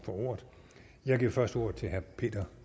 ordet jeg giver først ordet til herre peter